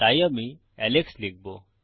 তাই আমি এলেক্স লিখবো